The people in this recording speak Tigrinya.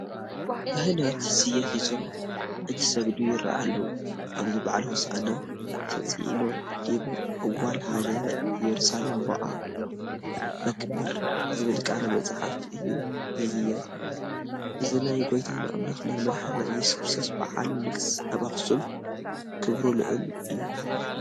ካህናት ስየ ሒዞም እንትሰግዱ ይርአዩ ኣለዉ፡፡ ኣብዚ በዓለ ሆሳእና "ተፅኢኖ ዲበ እዋል ሃገረ ኢየሩሳሌም ቦአ በክብር" ዝብል ቃል መፅሓፍ እዩ ዝዝየም፡፡ እዚ ናይ ጎይታና ኣምላኽናን መድሓኒትናን ኢየሱስ ክርስቶስ በዓለ ንግስ ኣብ ኣኽሱም ክብሩ ልዑል እዩ፡፡